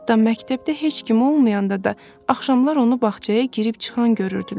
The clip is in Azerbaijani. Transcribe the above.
Hətta məktəbdə heç kim olmayanda da axşamlar onu bağçaya girib çıxan görürdülər.